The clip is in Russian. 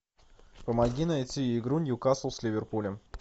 помоги найти игру ньюкасл с ливерпулем